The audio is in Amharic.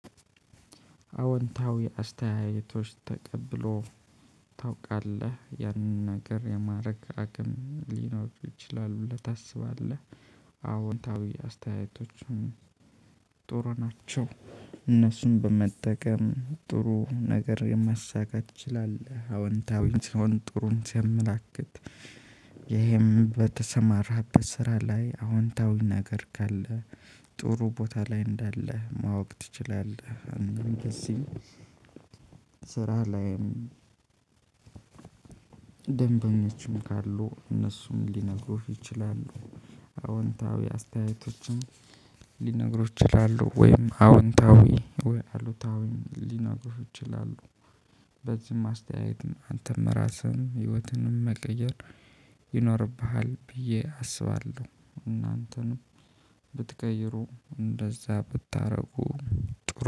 አዎንታዊ አስተያየቶች ተቀብሎ ታውቃለህ ያንን ነገር የማድረግ አቅም ሊኖሩ ይችላሉ ብለህ ታስባለህ? አዎንታዊ አስተያየቶቹን ጥሩ ናቸው። እነሱን በመጠቀም ጥሩ ነገር ማሳካት ትችላለህ አዎንታዊ ሲሆን ጥሩን ሲያመላክት። ይሄም በተሰማራህበት ስራ ላይ አዎንታዊ ነገር ካለ ጥሩ ቦታ ላይ እንዳለህ ማወቅ ትችላለህ። እንደዚህ ስራ ላይም ደንበኞችም ካሉ እነሱም ሊነግሩህ ይችላሉ። አዎንታዊ አስተያየቶችም ሊነግሩህ ይችላሉ ወይም አዎንታዊ ወይ አሉታዊም ሊነግሩህ ይችላሉ። በዚህም አስተያየትም አንተም ራስህን ህይወትንም መቀየር ይኖርብሃል ብዬ አስባለሁ። እናንተንም ብትቀይሩ እንደዛ ብታደርጉ ጠሩ